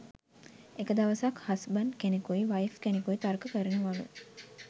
එක දවසක් හස්බන්ඩ් කෙනෙකුයි වයිෆ් කෙනෙකුයි තර්ක කරනවලු